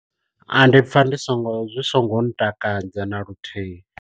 Ndi pfa zwi songo ntakadza na luthihi.